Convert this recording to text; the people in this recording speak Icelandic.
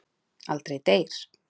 Aldrei deyr.